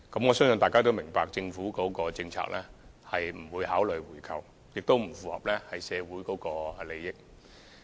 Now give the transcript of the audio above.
我相信大家都明白，政府的政策是不會考慮回購，而這亦不符合社會利益。